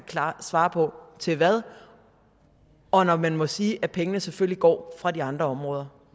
svare på til hvad og når man må sige at pengene selvfølgelig går fra de andre områder